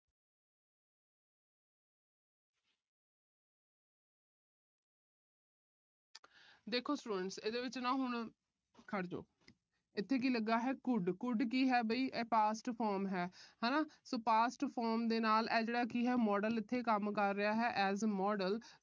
ਦੇਖੋ students ਇਹਦੇ ਵਿੱਚ ਨਾ ਹੁਣ। ਖੜ੍ਹ ਜੋ। ਇੱਥੇ ਕੀ ਲੱਗਾ ਹੈ could could ਕੀ ਹੈ। ਇਹ past form ਹੈ। ਹਨਾ so past form ਦੇ ਨਾਲ ਆ ਜਿਹੜਾ modal ਇੱਥੇ ਹੈ, ਕੰਮ ਕਰ ਰਿਹਾ ਹੈ as a modal